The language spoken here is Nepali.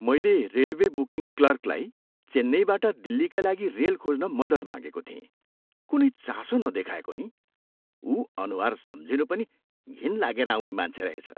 मैले रेलवे बुकिङ क्लर्कलाई चेन्नईबाट दिल्लीका लागि रेल खोज्न मद्दत मागेको थिएँ। कुनै चासो नदेखाएको नि। उ अनुहार सम्झिँनु पनि घिन लागेर आउने मान्छे रहेछ।